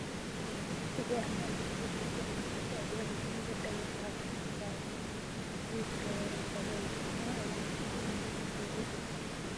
እዚ ኣርማ እዙይ ናይ ኢትዮጱያ መንገዲ ኣየር እዩ:: መንገዲ ኣየር ካብ ዓይነታት መጉዓዝያ እቲ ዝከበረ መጉዓዝያ እዩ:: ናይ ኣየር ሎሚ ክንዳይ በፂሑ?